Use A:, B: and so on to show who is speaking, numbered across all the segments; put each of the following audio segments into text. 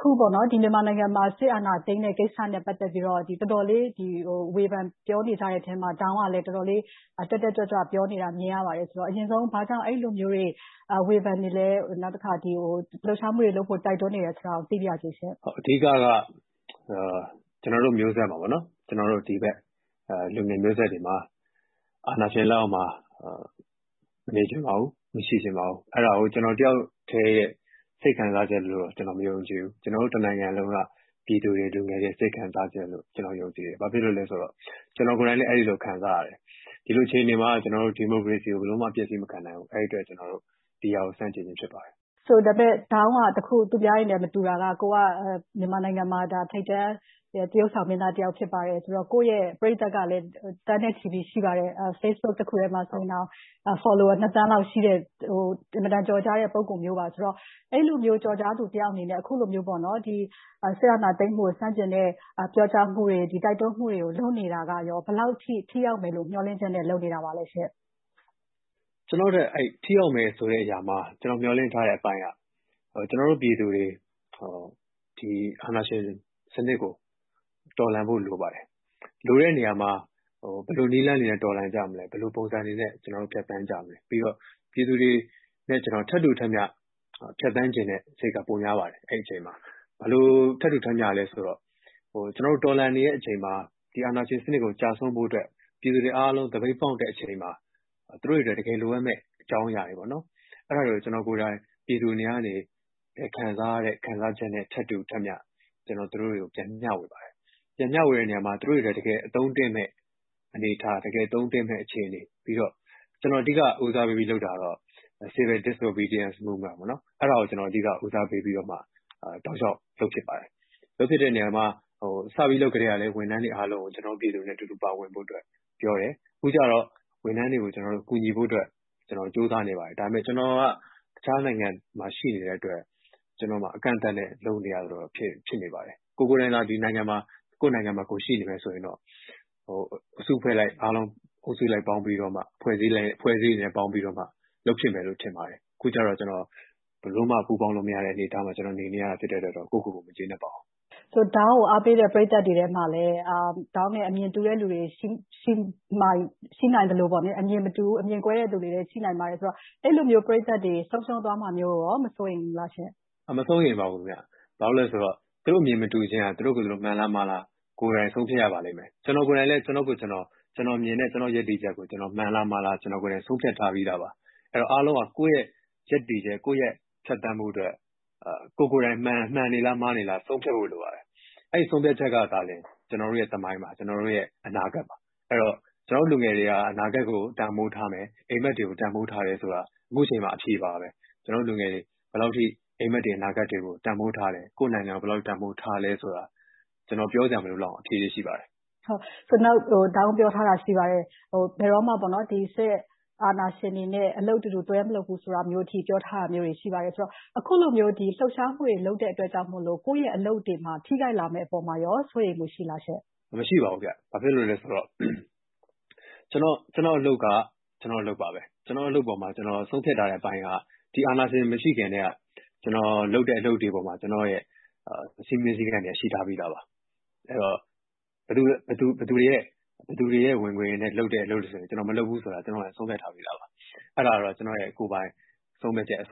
A: ခုပေါ့နော်.... မြန်မာနိုင်ငံမှာ စစ်အာဏာသိမ်းတဲ့ ကိစ္စနဲ့ ပတ်သက်ပြီးတော့ တော်တော်လေး ဝေဖန်ပြောနေကြတဲ့အထဲအမှာ ဒေါင်းကလည်း တော်တော်လေး တက်တက်ကြွကြွပြောနေတာ မြင်ရပါတယ်။ အရင်ဆုံး ဘာကြောင့် အဲဒီလိုမျိုးတွေ ဝေဖန်နေလဲ၊ လှုပ်ရှားမှုတွေလုပ်ဖို့ တိုက်တွန်းနေလဲဆိုတာ သိပါရစေရှင့်။
B: အဓိကက ကျနော်တို့ မျိုးဆက်မှာပေါ့နော်... ကျနော်တို့ လူငယ်မျိုးဆက်တွေမှာ အာဏာရှင်လက်အောက်မှာ မနေချင်ပါဘူး၊ မရှိချင်ပါဘူး။ အဲဒါကို ကျနော်တယောက်ထဲရဲ့ စိတ်ခံစားချက်လို့တော့ ကျနော်မယုံကြည်ဘူး။ ကျနော်တို့ တနိုင်ငံလုံးက ပြည်သူတွေ၊ လူငယ်တွေရဲ့ စိတ်ခံစားချက်လို့ ကျနော်ယုံကြည်တယ်။ ဘာဖြစ်လို့လဲဆိုတော့ ကျနော်ကိုယ်တိုင်လည်း အဲဒီလို ခံစားရတယ်။ ဒီလိုအခြေအနေမှာ ဒီမိုကရေစီကို ကျနော်တို့ ဘယ်လိုမှ အပျက်အစီးမခံနိုင်ဘူး။ အဲဒီအတွက် ကျနော်တို့ ဒီဟာကို ကျနော်တို့ ဆန့်ကျင်ခြင်းဖြစ်ပါတယ်။
A: ဒေါင်းက သူများတွေနဲ့ မတူတာက မြန်မာနိုင်ငံမှာ ထိပ်တန်းသရုပ်ဆောင်မင်းသားတယောက်ဖြစ်ပါတယ်ဆိုတော့ ကိုယ့်ရဲ့ ပရိသတ်ကလည်း သန်းနဲ့ ချီပြီး ရှိပါတယ်။ ဖေ့ဘွတ် တခုထဲမှာ ဆိုရင်တောင် follower ၂,၀၀၀,၀၀၀ လောက် ရှိတဲ့ အင်မတန်ကျော်ကြားတဲ့ ပုဂ္ဂိုလ်မျိုးပါ။ ဆိုတော့ အဲဒီလိုမျိုးကျော်ကြားသူတယောက်အနေနဲ့ အခုလိုမျိုးပေါ့နော်... စစ်အာဏာသိမ်းမှုကို ဆန့်ကျင်တဲ့ ပြောကြားမှုတွေ ဒီတိုက်တွန်းမှုတွေကို လုပ်နေတာကရော ဘယ်လောက်ထိ ထိရောက်မယ်ဆိုတဲ့ မျှော်လင့်ချက်နဲ့ လုပ်နေတာပါလဲရှင့်။
B: ကျနော်တွက် ထိရောက်မယ်ဆိုတဲ့ ကျနော်မျှော်လင့်ထားတဲ့အပိုင်းက ကျနော်တို့ ပြည်သူတွေ ဒီအာဏာရှင်စနစ်ကို တော်လှန်ဖို့လိုပါတယ်။ လိုတဲ့နေရာမှာ ဘယ်လိုနည်းလမ်းတွေနဲ့ တော်လှန်ကြမလဲ ဘယ်လို ပုံစံတွေနဲ့ ကျနော်တို့ ဖြတ်သန်းကြမလဲ။ ပြီးတော့ ပြည်သူတွေနဲ့ ကျနော် ထပ်တူထပ်မျှ ဖြတ်သန်းချင်တဲ့စိတ်က ပိုများပါတယ် အဲဒီအချိန်မှာ။ ဘယ်လိုထပ်တူထပ်မျှလဲဆိုတော့ ကျနော်တို့ တော်လှန်နေတဲ့အချိန်မှာ ဒီအာဏာရှင်စနစ်ကို ကျရှုံးဖို့အတွက် ပြည်သူတွေအားလုံး သပိတ်မှောက်တဲ့အချိန်မှာ သူတို့တွေအတွက် တကယ်လိုအပ်မယ့်အကြောင်းအရာတွေပေါ့နော်... အဲဒါတွေကနေ ကျနော်ကိုယ်တိုင် ပြည်သူတွေနေရာကနေ ခံစားချက်နဲ့ ထပ်တူထပ်မျှကျနော်သူတို့တွေကို ပြန်ပြီး မျှဝေပါတယ်။ ပြန်မျှဝေတဲ့အခါမှာ သူတို့တွေအတွက် တကယ်အသုံးတည့်မယ့် အနေအထား၊ တကယ်အသုံးတည့်မယ့် အခြေအနေ ပြီးတော့ ကျနော် အဓိက ဦးစားပေးပြီးလုပ်တာကတော့ Civil Disobedience Movement ပေါ့နော်။ အဲဒါကို အဓိက ဦးစားပေးပြီးတော့မှ တောက်လျှောက်လုပ်ဖြစ်ပါတယ်။ လုပ်ဖြစ်တဲ့နေရာမှာ စပြီးလုပ်ကတည်းက ဝန်ထမ်းတွေအားလုံးကို ကျနော်တို့ ပြည်သူတွေနဲ့ အတူတူပါဝင်ဖို့ပြောတယ်။ အခုကျတော့ ဝန်ထမ်းတွေကို ကျနော်တို့ ကူညီဖို့အတွက် ကြိုးစားနေပါတယ်။ ဒါပေမဲ့ ကျနော်က တခြားနိုင်ငံမှာ ရှိနေတဲ့အတွက် ကျနော့်မှာ အကန့်အသတ်နဲ့ လုပ်နေရသလိုတော့ ဖြစ်နေပါတယ်။ ကိုယ်ကိုယ်တိုင်သာ ကိုယ့်နိုင်ငံမှာ ရှိနေတယ်ဆိုရင်တော့ အစုအဖွဲ့အလိုက်အားလုံး အုပ်စုလိုက်ပေါင်းပြီးတော့မှ၊ အဖွဲ့အစည်းတွေနဲ့ ပေါင်းပြီးတော့မှ လုပ်ဖြစ်မယ်လို့ ထင်ပါတယ်။ အခုကျတော့ ကျနော်ဘယ်လိုမှ ပူးပေါင်းလို့မရတဲ့အနေအထားမှာ ကျနော်နေနေရတာ ဖြစ်တဲ့အတွက်တော့ ကိုယ့်ကိုကိုယ် မကျေနပ်ပါဘူး။
A: ဒေါင်းကို အားပေးတဲ့ ပရိသတ်မှာလည်း ဒေါင်းနဲ့ အမြင်တူတဲ့သူ ရှိနိုင်သလို၊ အမြင်မတူဘူး အမြင်ကွဲတဲ့သူတွေရှိနိုင်ပါတယ်ဆိုတော့ အဲဒီလိုမျိုးပရိသတ်တွေ ဆုံးရှုံးသွားမှာမျိုးကိုရော၊ မစိုးရိမ်ဘူးလားရှင့်။
B: မစိုးရိမ်ပါဘူး ခင်ဗျ။ သူတို့အမြင်မတူခြင်းဟာ သူတို့ကိုသူတို့ မှန်လား၊ မှားလား ကိုယ်တိုင်ဆုံးဖြတ်ရပါလိမ့်မယ်။ ကျနော်ကိုယ်တိုင်လည်း ကျနော်မြင်တဲ့ ကျနော့်ရပ်တည်ချက်ကို မှန်လားမှားလား။ ကျနော်ကိုယ်တိုင် ဆုံးဖြတ်ထားပြီးသားပါ။ အားလုံးဟာ ကိုယ့်ရဲ့ ရပ်တည်မှု၊ ကိုယ့်ရဲ့ ဖြတ်သန်းမှုတွက် ကိုယ်ကိုယ်တိုင်မှန်နေလား၊ မှားနေလား ဆုံးဖြတ်ဖို့လိုပါတယ်။ အဲဒီဆုံးဖြတ်ချက်ကသာလျှင် ကျနော်တို့ရဲ့ သမိုင်းပါ၊ ကျနော်တို့ရဲ့ အနာဂတ်ပါ။ ကျနော်တို့လူငယ်တွေက အနာဂတ်တွက် တန်ဖိုးထားမယ်၊ အိပ်မက်တွေကို တန်ဖိုးထားတယ်ဆိုတာ အခုအချိန်မှာ အဖြေပါပဲ။ ကျနော်တို့လူငယ်တွေ ဘယ်လောက်ထိ အိပ်မက်တွေ၊ အနာဂတ်တွေကို တန်ဖိုးထားတယ်၊ ကိုယ့်နိုင်ငံကို ဘယ်လောက်ထိ တန်ဖိုးထားလဲဆိုတာ ကျနော် ပြောစရာမလိုလောက်အောင်အဖြေတွေရှိပါတယ်။
A: ဒေါင်းပြောထားတာတခုရှိပါတယ်။ ဒီစစ်အာဏာရှင်တွေနဲ့ ဘယ်တော့မှ အလုပ်အတူတူတွဲမလုပ်ဘူးဆိုတာမျိုးထိ ပြောထားတာမျိုးတွေ ရှိပါတယ်။ အခုလိုမျိုး လှုပ်ရှားမှုတွေ လုပ်တဲ့အတွက်ကြောင့်မို့ ကိုယ့်ရဲ့ အလုပ်တွေမှာ ထိခိုက်လာမယ့်အပေါ်မှာရော စိုးရိမ်မှုရှိလားမသိဘူးရှင့်။
B: မရှိပါဘူးခင်ဗျ ။ ကျနော့်အလုပ်က ကျနော့်အလုပ်ပါပဲ။ ကျနော့်အလုပ်ပေါ်မှာ ဆုံးဖြတ်ထားတဲ့အပိုင်းက ဒီအာဏာရှင်မရှိခင်ကတည်းက ကျနော်လုပ်တဲ့ အလုပ်တွေပေါ်မှာ ကျနော့်ရဲ့ စည်းမျဉ်းစည်းကမ်းတွေက ရှိထားပြီးသားပါ။ အဲဒီတော့ ဘယ်သူတွေရဲ့ ဝင်ငွေတွေနဲ့ လုပ်တဲ့အလုပ်တွေဆိုရင် ကျနော်မလုပ်ဘူးဆိုတာ ကျနော်ဆုံးဖြတ်ထားပြီးသားပါ။ ကျနော့်ရဲ့ ကိုယ်ပိုင်ဆုံးဖြတ်ချက်၊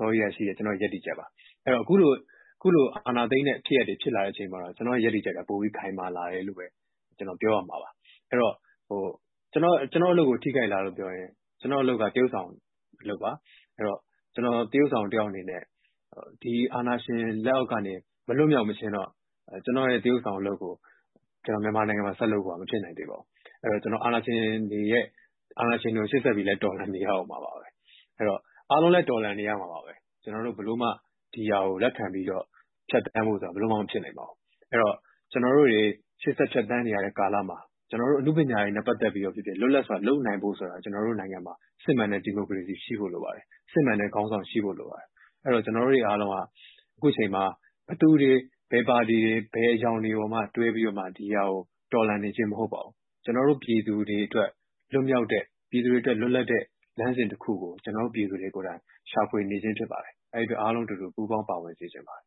B: ကျနော့်ရဲ့ အစောကြီးကတည်းကရှိတဲ့ ကျနော့်ရဲ့ ရပ်တည်ချက်ပါ။ အခုလို အာဏာသိမ်းတဲ့ ဖြစ်ရပ်တွေဖြစ်လာတော့ ကျနော့်ရဲ့ ရပ်တည်ချက်က ပိုပြီး ခိုင်မာလာတယ်လို့ပဲ ကျနော်ပြောရမှာပါ။ အဲဒီတော့ ကျနော့်အလုပ်ကို ထိခိုက်လားလို့ပြောရင်... ကျနော့်အလုပ်က သရုပ်ဆောင် အလုပ်ပါ။ အဲဒီတော့ ကျနော် သရုပ်ဆောင်တယောက်အနေနဲ့ ဒီအာဏာရှင်လက်အောက်ကနေ မလွတ်မြောက်မခြင်းတော့ ကျနော့်ရဲ့ သရုပ်ဆောင်အလုပ်ကို ကျနော် မြန်မာနိုင်ငံမှာ ဆက်လုပ်ဖို့က မဖြစ်နိုင်သေးပါဘူး။ အဲဒီတော့ ကျနော် အာဏာရှင်တွေကို ရှေ့ဆက်ပြီး တော်လှန်နေရဦးမှာပါပဲ။ အားလုံးလည်း တော်လှန်နေရဦးမှာပါပဲ။ ကျနော်တို့ ဘယ်လိုမှ ဒီဟာကို လက်ခံပြီးတော့ ဖြတ်သန်းဖို့ဆိုတာ ဘယ်လိုမှ မဖြစ်နိုင်ပါဘူး။ အဲဒီတော့ ကျနော်တို့တွေ ရှေ့ဆက်ဖြတ်သန်းနေရတဲ့ ကာလမှာ ကျနော်တို့ အနုပညာတွေနဲ့ ပတ်သက်ပြီးတော့ဖြစ်ဖြစ် လွတ်လပ်စွာ လုပ်နိုင်ဖို့ဆိုတာ ကျနော်တို့နိုင်ငံမှာ စစ်မှန်တဲ့ ဒီမိုကရေစီ ရှိဖို့လိုပါတယ်။ စစ်မှန်တဲ့ ခေါင်းဆောင်ရှိဖို့လိုပါတယ်။ အဲဒီတော့ ကျနော်တို့တွေအားလုံးက ခုချိန်မှာ ဘယ်သူတွေ၊ ဘယ်ပါတီတွေ၊ ဘယ်အရောင်တွေကိုမှ တွေးပြီးတော့ ဒီဟာကို တော်လှန်နေခြင်းမဟုတ်ပါဘူး။ ကျနော်တို့ ပြည်သူတွေအတွက် လွတ်လပ်တဲ့လမ်းစဉ်တခုကို ကျနော်တို့ပြည်သူတွေ ကိုယ်တိုင်ရှာဖွေနေခြင်းဖြစ်ပါတယ်။ အဲဒီအတွက် အားလုံးအတူတူ ပူးပေါင်းပါဝင်စေချင်ပါတယ်